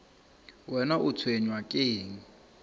wena o tshwenywa ke eng